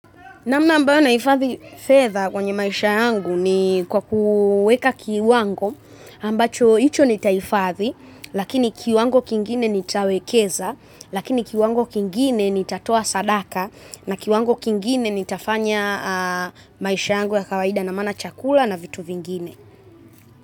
Namna ambayo ninahifathi fedha kwenye maisha yangu ni kwa kuweka kiwango ambacho hicho nitahifathi. Lakini kiwango kingine nitawekeza, lakini kiwango kingine nitatoa sadaka, na kiwango kingine nitafanya maisha yangu ya kawaida ina maana chakula na vitu vingine.